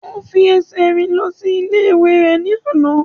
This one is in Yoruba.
O fi ẹsẹ̀ rìn lọ sí ilé rẹ̀ ní àná.